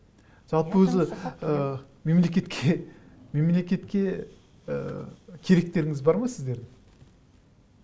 жалпы өзі ы мемлекетке мемлекетке ы керектеріңіз бар ма сіздердің